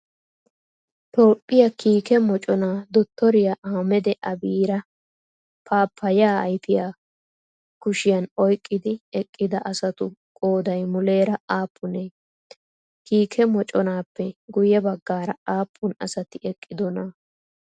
Toophphiyaa kiike moconaa dottoriyaa Ahmada abiyaara paappaayyiyaa ayfiyaa kishiyan oyqqidi eqqida asatu qoodayi muleera aappunee? Kiike moconaappe guyye baggaara aappun asati eqqidonaa?